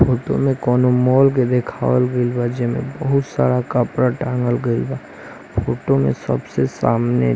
photo में कोनो mall के देखवाल गईल बा जेमे बहौत सारा कपड़ा टांगल बा फोटो में --